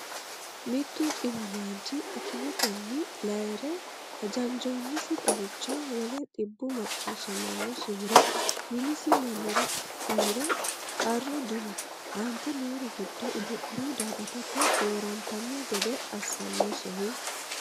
Mittu dhiwamaanchi akimetenni layi’re hajanjoonnisi xagicho wole dhibbu macciishshammosihura minisi mannira uyiro qarru dino, Aante noori giddo Itophiya daa”atate doorantanno gede assannosehu?